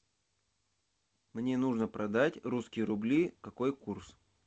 мне нужно продать русские рубли какой курс